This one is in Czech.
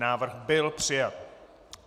Návrh byl přijat.